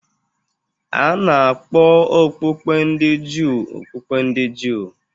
A na-akpọ okpukpe ndị Juu okpukpe ndị Juu